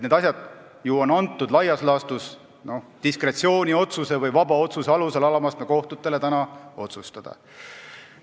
Need asjad on laias laastus antud diskretsiooniotsuse või vaba otsuse alusel alamastme kohtutele otsustada.